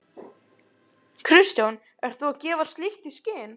Kristján: Ert þú að gefa slíkt í skyn?